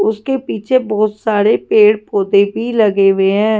उसके पीछे बहुत सारे पेड़ पौधे भी लगे हुए हैं।